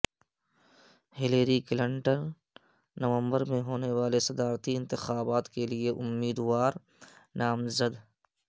Hillary Clinton نومبر میں ہونے والے صدارتی انتخابات کے لئے امیدوار نامزد